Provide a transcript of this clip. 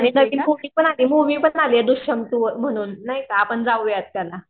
आणि त्यांत ती मुवीपण आली मुवि पण आल्या दुषणतु म्हणून नाही का? आपण जाऊया त्याला.